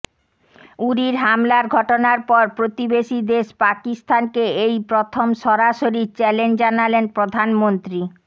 উরির হামলার ঘটনার পর প্রতিবেশী দেশ পাকিস্তানকে এই প্রথম সরাসরি চ্যালেঞ্জ জানালেন প্রধানমন্ত্রী